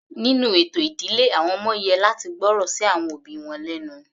Nínú ètò ìdílé àwọn ọmọ yẹ láti gbọ́ ọ̀rọ̀ sí àwọn òbí wọn lẹ́nu.